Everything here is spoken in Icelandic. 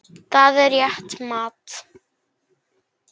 Það er rétt mat.